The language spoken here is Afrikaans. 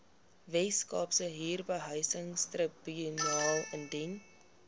weskaapse huurbehuisingstribunaal indien